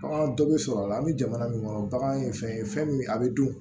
Bagan dɔ bɛ sɔrɔ a la an bɛ jamana min kɔnɔ bagan ye fɛn ye fɛn min a bɛ dun